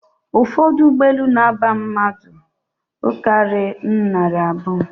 Ụfọdụ ụgbọelu na-aba mmadụ karịrị narị abụọ